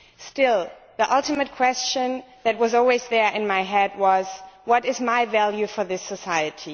Still, the ultimate question that was always there in my mind was what is my value for this society?